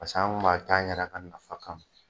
Paseke an kun m'a kɛ an yɛrɛ ka nafa ka ma.